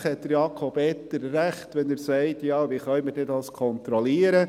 Selbstverständlich hat Jakob Etter recht, wenn er sagt: «Wie können wir denn das kontrollieren?